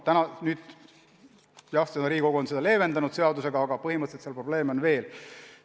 Jah, nüüd on Riigikogu seda seadusega leevendanud, aga põhimõtteliselt on probleeme veel.